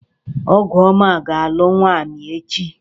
Ọgụọma ga-alụ nwaanyị echi.